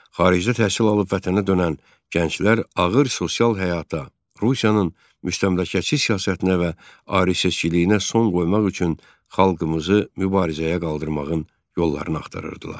Xaricdə təhsil alıb vətənə dönən gənclər ağır sosial həyata, Rusiyanın müstəmləkəçi siyasətinə və ayrı-seçkiliyinə son qoymaq üçün xalqımızı mübarizəyə qaldırmağın yollarını axtarırdılar.